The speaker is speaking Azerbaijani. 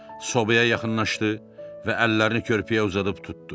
Sobaya yaxınlaşdı və əllərini körpəyə uzadıb tutdu.